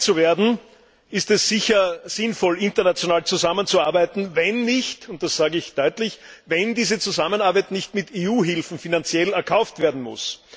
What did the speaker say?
Um dem Herr zu werden, ist es sicher sinnvoll, international zusammenzuarbeiten, wenn und das sage ich deutlich diese Zusammenarbeit nicht mit EU Hilfen finanziell erkauft werden muss.